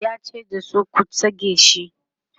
yace da su,"ku tsige sh!"